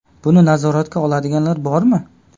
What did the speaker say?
Buni nazoratga oladiganlar bormi?